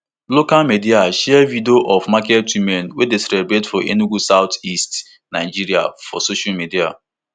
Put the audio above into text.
local media share video of market women wey dey celebrate for enugu southeast nigeria for social media